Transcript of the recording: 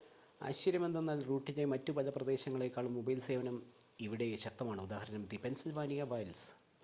ആശ്ചര്യമെന്തെന്നാൽ റൂട്ടിലെ മറ്റ് പല പ്രദേശങ്ങളേക്കാളും മൊബൈൽ ഫോൺ സേവനം ഇവിടെ ശക്തമാണ് ഉദാ ദി പെൻസിൽവാനിയ വൈൽഡ്‌സ്